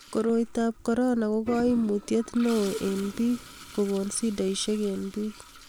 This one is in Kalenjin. koroitab korona ko kaimutiet ne o eng bik kokon shidoshiek eng bik